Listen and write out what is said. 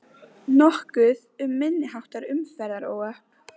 Nokkuð um minniháttar umferðaróhöpp